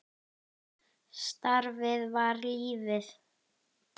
Starfið var lífið.